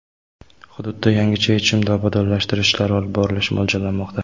Hududda yangicha yechimda obodonlashtirish ishlari olib borilishi mo‘ljallanmoqda.